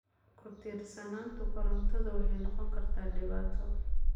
Ku-tiirsanaanta korontadu waxay noqon kartaa dhibaato.